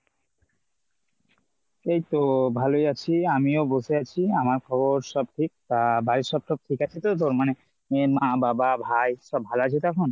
এইতো ভালোই আছি। আমিও বসে আছি। আমার খবর সব ঠিক আর বাড়ির সব ঠিক আছে তো মানে মা বাবা ভাই সব ভালো আছে তো এখন ?